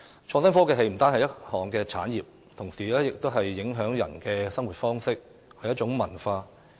創新科技不單是一項產業，同時也影響着人們的生活方式，是一種文化。